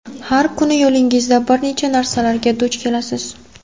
Har kuni yo‘lingizda bir nechta narsalarga duch kelasiz.